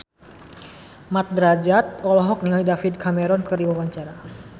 Mat Drajat olohok ningali David Cameron keur diwawancara